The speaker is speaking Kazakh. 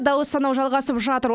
дауыс санау жалғасып жатыр